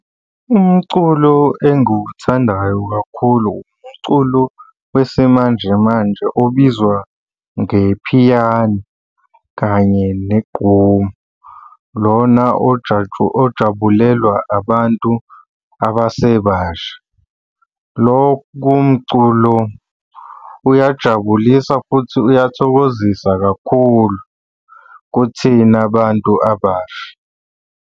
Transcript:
Umculo engiwuthandayo kakhulu umculo wesimanje manje obizwa ngephiyano kanye negqomu. Lona ojabulelwa abantu abasebasha. Lokhu komculo kuyajabulisa futhi uyamthokozisa kakhulu kuthina bantu abasha.